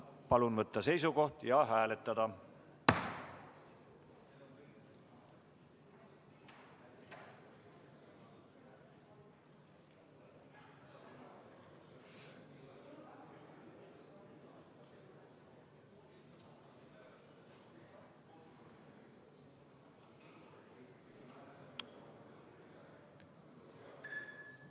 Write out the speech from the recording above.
Palun võtta seisukoht ja hääletada!